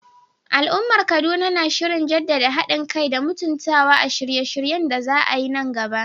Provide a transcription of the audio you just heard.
Al'ummar Kaduna na shirin jaddada hadin kai da mutuntawa a shirye-shiryen da za a yi nan gaba.